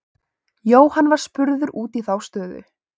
Jóhann var spurður út í þá stöðu.